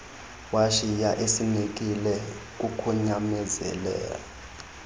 washiya esinekile kukunyamezela